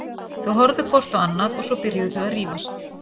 Þau horfðu hvort á annað og svo byrjuðu þau að rífast.